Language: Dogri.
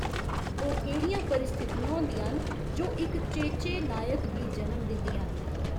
ओह् केह्ड़ियां परिस्थितियां होंदियां न, जो इक चेचे नायक गी जनम दिंदियां न?